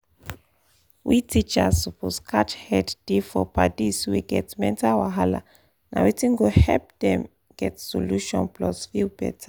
we teachers suppose catch head da for padis wey get mental wahala na wetin go help them get solution plus feel better